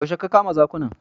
Yaushe ka kama zakunan?